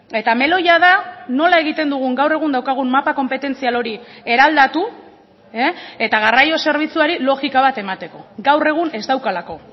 eta meloia da nola egiten dugun gaur egun daukagun mapa konpetentzial hori eraldatu eta garraio zerbitzuari logika bat emateko gaur egun ez daukalako